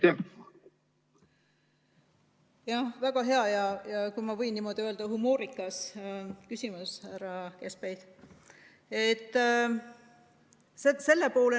Jah, väga hea ja, kui ma võin niimoodi öelda, humoorikas küsimus, härra Kaskpeit!